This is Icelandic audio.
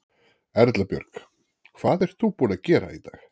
Erla Björg: Hvað ert þú búin að gera í dag?